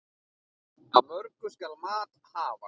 Af mörgu skal mat hafa.